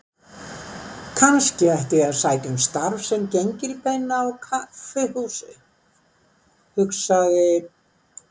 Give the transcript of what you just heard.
Kannski ætti ég að sækja um starf sem gengilbeina á kaffihúsi, hugsaði